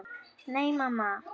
Nei, mamma.